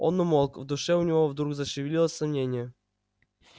он умолк в душе у него вдруг зашевелилось сомнение